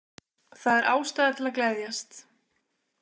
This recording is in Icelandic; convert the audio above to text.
Það er ástæða til að gleðjast.